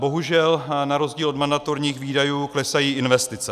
Bohužel na rozdíl od mandatorních výdajů klesají investice.